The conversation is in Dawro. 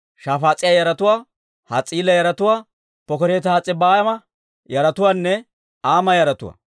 Shafaas'iyaa yaratuwaa, Has's'iila yaratuwaa, Pokereti-Has's'abayma yaratuwaanne Aama yaratuwaa.